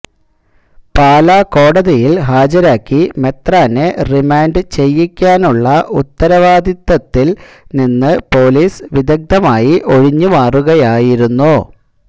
പാലാ കോടതിയിൽ ഹാജരാക്കി മെത്രാനെ റിമാന്റ് ചെയ്യിക്കാനുള്ള ഉത്തരവാദിത്തത്തിൽ നിന്ന് പൊലീസ് വിദഗ്ധമായി ഒഴിഞ്ഞു മാറുകയായിരുന്നു